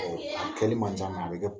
Ɔ a Kɛlɛ man ca a bɛ ale kɛ